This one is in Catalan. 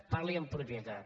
parli amb propietat